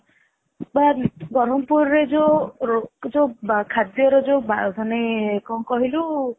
ବରମପୁରର ଯୋଉ ଯୋଉ ଖାଦ୍ୟର ଯୋଉ ମାନେ କଣ କହିଲୁ